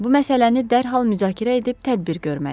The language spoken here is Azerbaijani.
Bu məsələni dərhal müzakirə edib tədbir görməliyik.